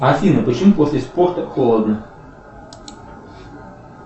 афина почему после спорта холодно